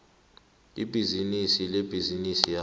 ibhizinisi lebhizinisi yakho